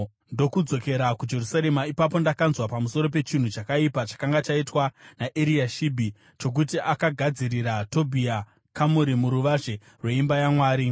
ndokudzokera kuJerusarema. Ipapo ndakanzwa pamusoro pechinhu chakaipa chakanga chaitwa naEriashibhi chokuti akagadzirira Tobhia kamuri muruvazhe rweimba yaMwari.